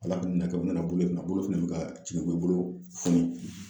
Ala k'u minɛ kɛ u nana bolo in a bolo fɛnɛ be ka cilebi bolo funi.